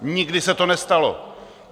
Nikdy se to nestalo.